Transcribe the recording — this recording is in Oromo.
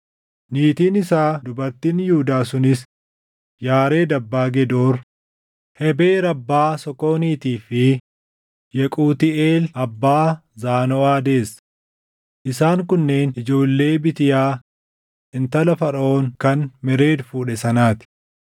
Niitiin isaa dubartiin Yihuudaa sunis Yaared abbaa Gedoor, Hebeer abbaa Sookooniitii fi Yequutiiʼeel abbaa Zaanoʼaa deesse. Isaan kunneen ijoollee Bitiyaa intala Faraʼoon kan Mered fuudhe sanaa ti.